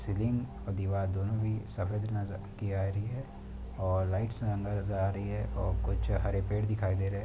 और दीवार दोनों ही सफ़ेद नजर के आ रही है और लाइट्स अंदर जा रही है और कुछ हरे पेड़ दिखाई दे रहे हैं।